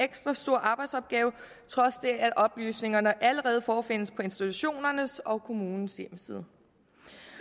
ekstra stor arbejdsopgave trods det at oplysningerne allerede forefindes på institutionernes og kommunens hjemmeside